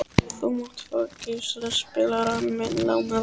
Þú mátt fá geislaspilarann minn lánaðan.